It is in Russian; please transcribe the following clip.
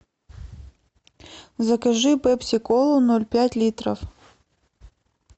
закажи пепси колу ноль пять литров